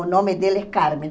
O nome dela é Carmen.